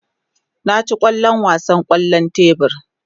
Na ci kwallo a wasan kwallon tebur.